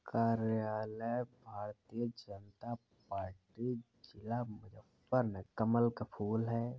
कार्यालय भारतीय जनता पार्टी जिला मुजफ्फर न कमल का फूल है।